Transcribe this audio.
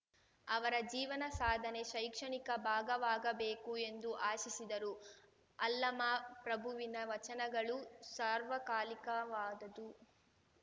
ಅವರ ಜೀವನ ಸಾಧನೆ ಶೈಕ್ಷಣಿಕ ಭಾಗವಾಗಬೇಕು ಎಂದು ಆಶಿಸಿದರು ಅಲ್ಲಮ ಪ್ರಭುವಿನ ವಚನಗಳು ಸಾರ್ವಕಾಲಿಕವಾದದು